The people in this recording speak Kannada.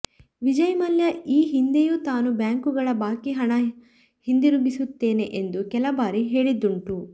ವಿಜಯ್ ಮಲ್ಯ ಈ ಹಿಂದೆಯೂ ತಾನು ಬ್ಯಾಂಕುಗಳ ಬಾಕಿ ಹಣ ಹಿಂದಿರುಗಿಸುತ್ತೇನೆ ಎಂದು ಕೆಲ ಬಾರಿ ಹೇಳಿದ್ದುಂಟು